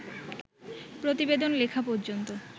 প্রতিবেদন লেখা পর্যন্ত